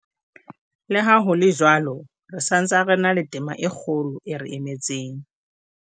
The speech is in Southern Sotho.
Le ha ho le jwalo, re sa ntse re na le tema e kgolo e re emetseng.